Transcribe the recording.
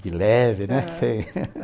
De leve, né? Ãh. Sei...